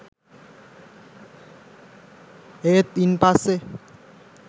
ඒත් ඉන් පස්සේ